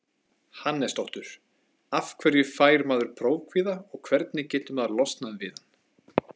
Hannesdóttur Af hverju fær maður prófkvíða og hvernig getur maður losnað við hann?